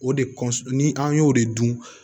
O de kɔsɔn ni an y'o de dun